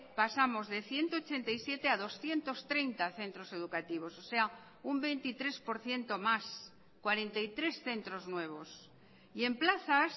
pasamos de ciento ochenta y siete a doscientos treinta centros educativos o sea un veintitrés por ciento más cuarenta y tres centros nuevos y en plazas